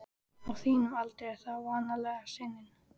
Á þínum aldri er það vanalega sinin.